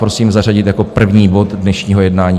Prosím zařadit jako první bod dnešního jednání.